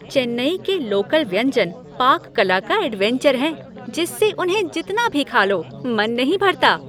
चेन्नई के लोकल व्यंजन पाक कला का एडवेंचर हैं जिससे उन्हें जितना भी खा लो, मन नहीं भरता।